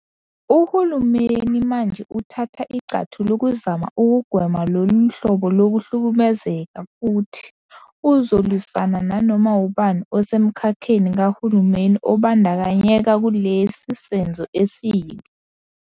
Uhulumeni manje uthatha igxathu lokuzama ukugwema lolu hlobo lokuhlukumeza futhi uzolwisana nanoma ngubani osemkhakheni kahulumeni obandakanyeka kulesi senzo esibi.